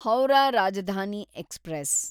Howrah Rajdhani express